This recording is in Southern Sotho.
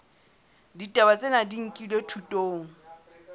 ditaba tsena di nkilwe thutong